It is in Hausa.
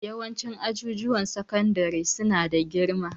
Yawancin ajujuwan sakandare su na da girma